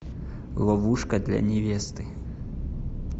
ловушка для невесты